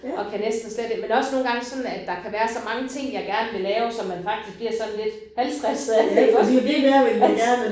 Og kan næsten slet ikke men også nogle gange sådan at der kan være så mange ting jeg gerne vil lave så man faktisk bliver sådan lidt halvstresset af det iggås altså